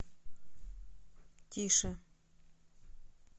тише